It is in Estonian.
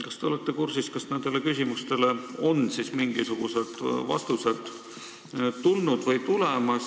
Kas te olete kursis, kas nendele küsimustele on mingisugused vastused tulnud või tulemas?